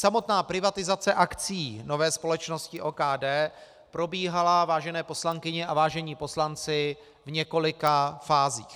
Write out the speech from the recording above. Samotná privatizace akcií nové společnosti OKD probíhala, vážené poslankyně a vážení poslanci, v několika fázích.